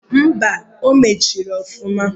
Mba! O mechiri ọfụma.